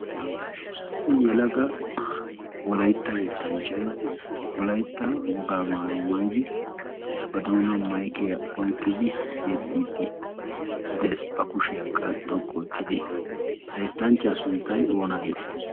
issi yela ga wulaytta yeettanchchay wolaytta wogaamaayo maydi ba doona mayqiya oiqqidi yeddiiddi dees ba kushiyaakka xoqqu oottidi ha eettanchchyaa sunttay oona geetettii